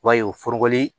I b'a ye o foroko in